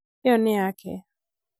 ĩyo nĩ yake